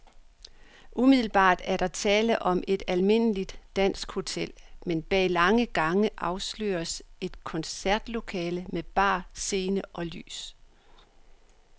Umiddelbart er der tale om et almindeligt dansk hotel, men bag lange gange afsløres et koncertlokale med bar, scene og lys.